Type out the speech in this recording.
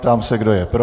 Ptám se, kdo je pro?